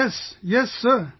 Yes, yes, sir